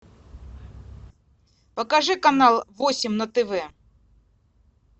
покажи канал восемь на тв